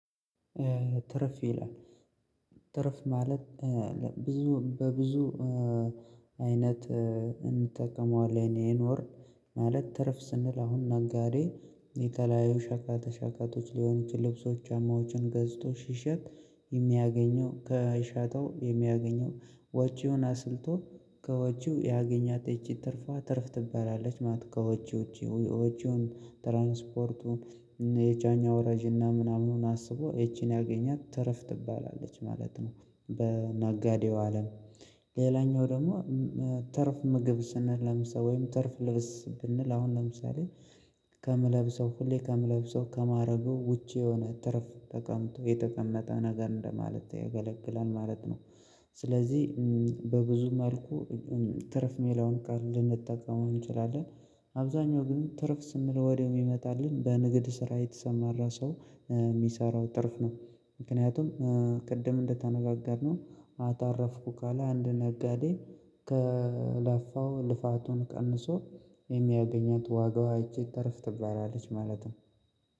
ትርፍ ይላል ትርፍ ማለት ብዙ በብዙ አይነት እንጠቀመዋለን ይህን ወር ማለት ትርፍ ስንል አሁን ነጋዴ የተለያዩ ሸቀጣሸቀጦች ሸቀጦች ሊሆኑ የልብሶች ጫማዎችን ገዝቶ ሲሸጥ የሚያገኘው ከሽጠው የሚያገኘው ወጪውን አስልቶ ከወጪው ያገኘች ትርፋ ትርፍ ትባላለች ማለት ነው። ከወጪው ውጪ ውጪውን ትራንስፖርቱን የጫኝ አወራጅና ምናምኑን አስቦ ይቺን ያገኛት ትርፍ ትባላለች ማለት ነው። በነጋዴው አለም ሌላኛው ደግሞ ትርፍ ምግብ ስንለምሰው ወይም ትርፍ ልብስ ብንል አሁን ለምሳሌ ከምለብሰው ሁሌ ከምለብሰው ከማረጉ ውጪ የሆነ ትርፍ ተቀምጦ የተቀመጠ ነገር እንደማለት ይገለግላል ማለት ነው። ስለዚህ በብዙ መልኩ ትርፍ ሜላውን ቀን ልንጠቀመው እንችላለን አብዛኛው ግን ትርፍ ስንል ወዲያው የሚመጣልን በንግድ ስራ የተሰማራ ሰው የሚሰራው ትርፍ ነው። ምክንያቱም ቅድም እንደተነጋገርነው አተረፍኩ ካለ አንድ ነጋዴ ከለፋው ልፋቱን ቀንሶ የሚያገኘው ዋጋው ይቼ ትርፍ ትባላለች ማለት ነው።